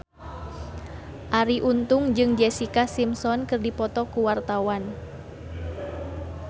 Arie Untung jeung Jessica Simpson keur dipoto ku wartawan